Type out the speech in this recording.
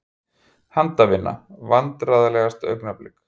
Handavinnu Vandræðalegasta augnablik?